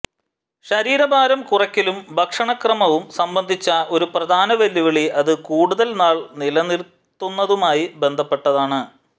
ശരീരഭാരം കുറയ്ക്കലും ഭക്ഷണക്രമവും സംബന്ധിച്ച ഒരു പ്രധാന വെല്ലുവിളി അത് കൂടുതൽ നാൾ നിലനിർത്തുന്നതുമായി ബന്ധപ്പെട്ടതാണ്